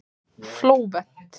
Flóvent